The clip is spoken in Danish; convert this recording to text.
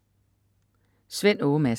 Svend Åge Madsen